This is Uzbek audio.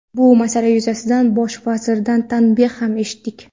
Bu masala yuzasidan Bosh vazirdan tanbeh ham eshitdik.